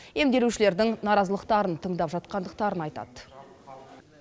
емделушілердің наразылықтарын тыңдап жатқандықтарын айтады